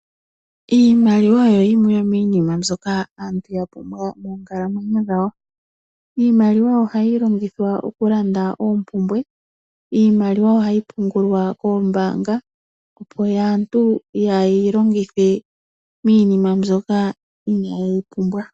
Iimaliwa oyo yimwe yomiinima mbyoka aantu ya pumbwa moonkalamwenyo dhawo. Iimaliwa oha yi longithwa okulanda oompumbwe, iimaliwa oha yi pungulwa koombaanga opo aantu kaayeyi longithe miinima mbyoka inaa yeyi pumbwa.